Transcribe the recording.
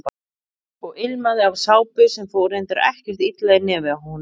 Og ilmaði af sápu sem fór reyndar ekkert illa í nefið á honum.